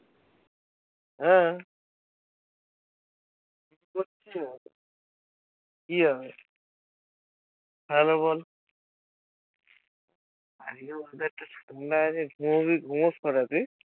হ্যাঁ করছে কি জানি? বল ঘুমোবি ঘুমোস কটাই তুই?